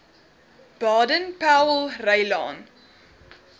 baden powellrylaan